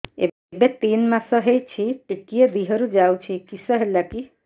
ଏବେ ତିନ୍ ମାସ ହେଇଛି ଟିକିଏ ଦିହରୁ ଯାଉଛି କିଶ ହେଲାକି